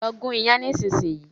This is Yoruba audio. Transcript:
Lọ gún iyán nísìsiyìí!